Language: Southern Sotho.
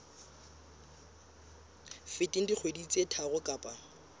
feteng dikgwedi tse tharo kapa